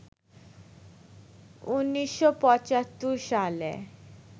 ১৯৭৫ সালে